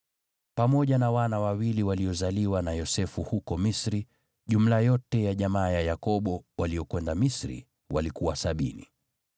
Pamoja na wana wawili waliozaliwa na Yosefu huko Misri, jumla yote ya jamaa ya Yakobo, waliokwenda Misri, walikuwa sabini.